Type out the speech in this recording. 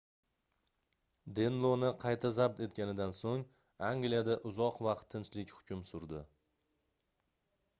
denloni qayta zabt etganidan soʻng angliyada uzoq vaqt tinchlik hukm surdi